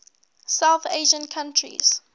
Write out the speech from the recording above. south asian countries